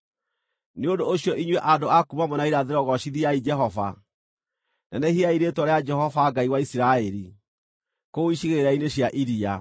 Nĩ ũndũ ũcio inyuĩ andũ a kuuma mwena wa irathĩro gocithiai Jehova; nenehiai rĩĩtwa rĩa Jehova Ngai wa Isiraeli, kũu icigĩrĩra-inĩ cia iria.